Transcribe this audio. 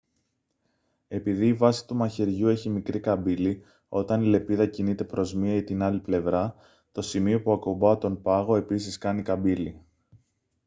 επειδή η βάση του μαχαιριού έχει μικρή καμπύλη όταν η λεπίδα κινείται προς μία ή την άλλη πλευρά το σημείο που ακουπά τον πάγο επίσης κάνει καμπύλη